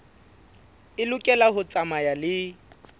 e lokela ho tsamaya le